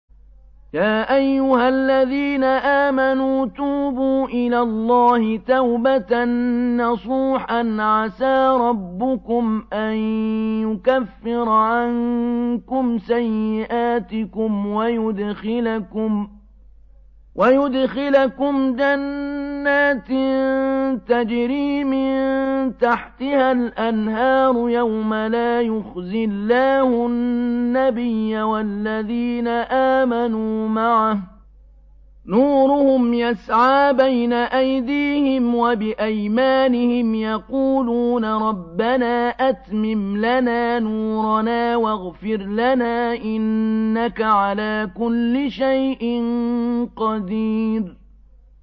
يَا أَيُّهَا الَّذِينَ آمَنُوا تُوبُوا إِلَى اللَّهِ تَوْبَةً نَّصُوحًا عَسَىٰ رَبُّكُمْ أَن يُكَفِّرَ عَنكُمْ سَيِّئَاتِكُمْ وَيُدْخِلَكُمْ جَنَّاتٍ تَجْرِي مِن تَحْتِهَا الْأَنْهَارُ يَوْمَ لَا يُخْزِي اللَّهُ النَّبِيَّ وَالَّذِينَ آمَنُوا مَعَهُ ۖ نُورُهُمْ يَسْعَىٰ بَيْنَ أَيْدِيهِمْ وَبِأَيْمَانِهِمْ يَقُولُونَ رَبَّنَا أَتْمِمْ لَنَا نُورَنَا وَاغْفِرْ لَنَا ۖ إِنَّكَ عَلَىٰ كُلِّ شَيْءٍ قَدِيرٌ